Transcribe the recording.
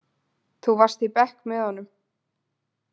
Þú varst í bekk með honum.